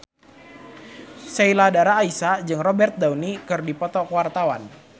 Sheila Dara Aisha jeung Robert Downey keur dipoto ku wartawan